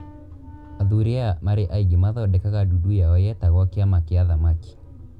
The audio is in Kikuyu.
athuri aya marĩ aingĩ mathondekaga ndundu yao yetagwo kĩama kĩa athamaki